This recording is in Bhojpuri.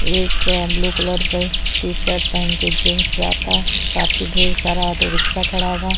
एक ब्लू कलर के टी-शर्ट पहन के जीन्स जाता काफी ढेर सारा ऑटो रिक्शा खड़ा बा।